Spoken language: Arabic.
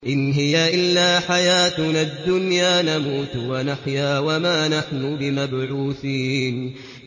إِنْ هِيَ إِلَّا حَيَاتُنَا الدُّنْيَا نَمُوتُ وَنَحْيَا وَمَا نَحْنُ بِمَبْعُوثِينَ